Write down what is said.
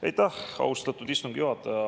Aitäh, austatud istungi juhataja!